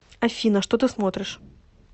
афина что ты смотришь